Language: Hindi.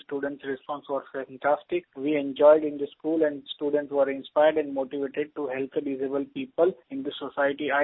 and the students response was fantastic they enjoyed in the school and the students were inspired and motivated to help the disabled people in the society